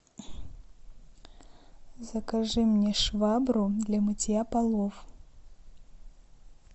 закажи мне швабру для мытья полов